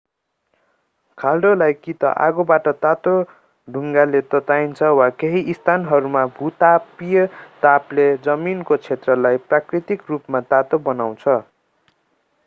खाल्डोलाई कि त आगोबाट तातो ढुङ्गाले तताइन्छ वा केहि स्थानहरूमा भूतापीय तापले जमिनको क्षेत्रलाई प्राकृतिक रूपमा तातो बनाउँछ